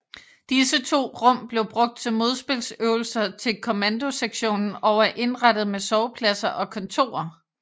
Disse to rum blev brugt til modspilsøvelser til kommandosektionen og er indrettet med sovepladser og kontorer